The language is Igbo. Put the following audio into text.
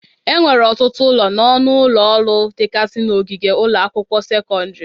Enwere ọtụtụ ụlọ na ọnụ ụlọ ọrụ dịgazị n'ogige ụlọ akwụkwọ sekọndịrị.